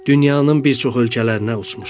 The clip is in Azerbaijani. Dünyanın bir çox ölkələrinə uçmuşam.